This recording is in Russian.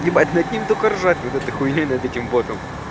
ебать над ним только ржать над этой хуйнёй над этим ботом